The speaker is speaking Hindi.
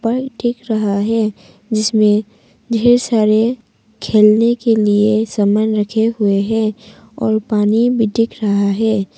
पल दिख रहा है जिसमें ढेर सारे खेलने के लिए सामान रखे हुए हैं और पानी भी दिख रहा है।